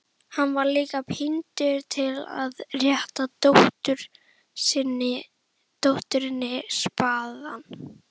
Hann var líka píndur til að rétta dótturinni spaðann.